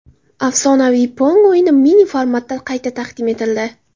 Afsonaviy Pong o‘yini mini-formatda qayta taqdim etildi.